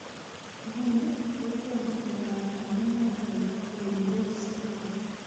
Nguni kotom kenai amune nebo Primrose syndrome.